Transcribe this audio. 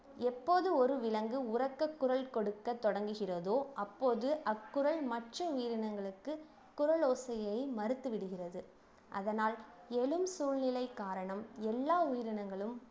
எப்போது ஒரு விலங்கு உரக்க குரல் கொடுக்க தொடங்குகிறதோ அப்போது அக்குரல் மற்ற உயிரினங்களுக்கு குறலோசையை மறுத்து விடுகிறது அதனால் எழும் சூழ்நிலை காரணம் எல்லா உயிரினங்களும்